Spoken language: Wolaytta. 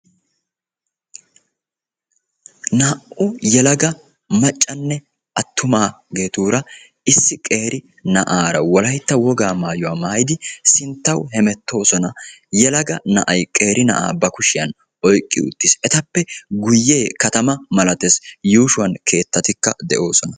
Naa''u yelaga maccanne attumagetuura issi qeeri naa'ara wolaytta wogaa maayuwa maayidi sinttawu hemettoosona. Yeelaga naa'ay qeeri na'a ba kushiyan oyqqi uttis. Etape guyee katama miilatees. Yuushuwan keettatika de'oosona.